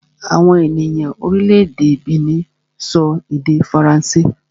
Àwọn ènìyàn orílẹ̀-èdè Benin sọ èdè Faransé